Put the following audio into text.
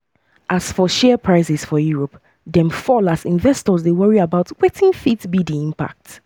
as for share prices for europe dem fall as investors dey worry about wetin fit be di impact.